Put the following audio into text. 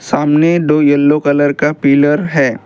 सामने दो yellow colour का पिलर है।